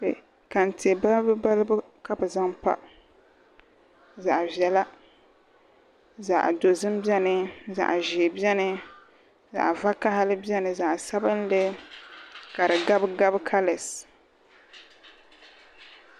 Kantɛ balibu balibu ka bi zaŋ pa zaɣ viɛla zaɣ dozim biɛni zaŋ ʒiɛ biɛni zaɣ vakaɣili biɛni zaɣ sabinli ka di gabi gabi kalas